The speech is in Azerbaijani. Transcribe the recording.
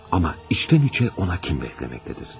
Amma içdən-içə ona kin bəsləməkdədir.